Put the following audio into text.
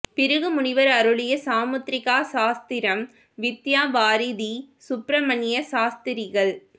பிருகு முனிவர் அருளிய சாமுத்ரிகா சாஸ்திரம்வித்யாவாரிதி சுப்ரமண்ய சாஸ்திரிகள்